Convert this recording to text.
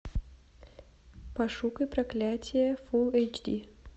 пошукай проклятье фул эйч ди